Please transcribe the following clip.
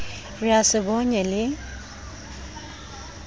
re a se bonye le